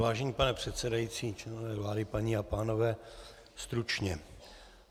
Vážený pane předsedající, členové vlády, paní a pánové, stručně.